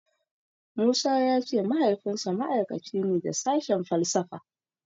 Musa ya ce Mahaifinsa ma'aikaci ne da sashen falsafa.